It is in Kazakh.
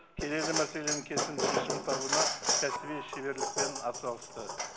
келелі мәселенің кесімді шешім табуына кәсіби шеберлікпен атсалысты